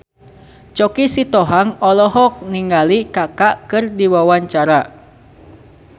Choky Sitohang olohok ningali Kaka keur diwawancara